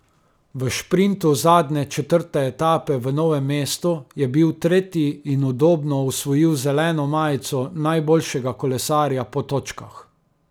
V šprintu zadnje četrte etape v Novem mestu je bil tretji in udobno osvojil zeleno majico najboljšega kolesarja po točkah.